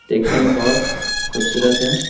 देखने में बहुत खूबसूरत है ।